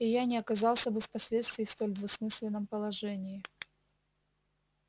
и я не оказался бы впоследствии в столь двусмысленном положении